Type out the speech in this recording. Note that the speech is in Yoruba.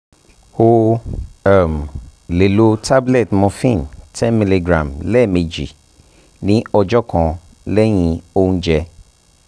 ó um lè lo tab morphine ten mg lẹ́ẹ̀mejì ní ọjọ́ kan lẹ́yìn oúnjẹ